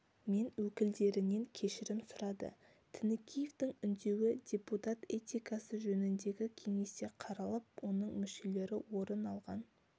мен өкілдерінен кешірім сұрады тінікеевтің үндеуі депутат этикасы жөніндегі кеңесте қаралып оның мүшелері орын алған